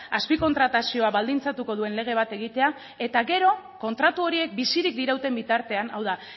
azpikontratazioa baldintzatuko duen lege bat egitea eta gero kontratu horiek bizirik dirauten bitartean hau da